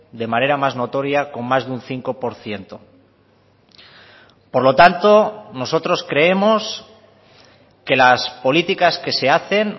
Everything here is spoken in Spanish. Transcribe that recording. de manera más notoria con más de un cinco por ciento por lo tanto nosotros creemos que las políticas que se hacen